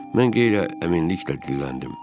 Mən demək olar ki, əminliklə dedim.